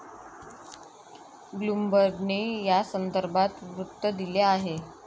ब्लुमबर्गने यासंदर्भात वृत्त दिले आहे.